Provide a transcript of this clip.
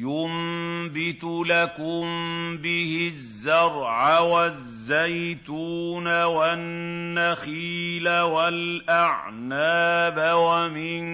يُنبِتُ لَكُم بِهِ الزَّرْعَ وَالزَّيْتُونَ وَالنَّخِيلَ وَالْأَعْنَابَ وَمِن